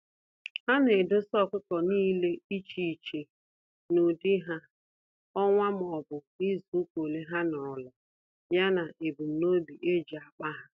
Ana edosa ọkụkọ nile iche iche; n'ụdị ha, ọnwa m'obu izuka ole ha nọrọla, ya na ebum nobi eji akpa há.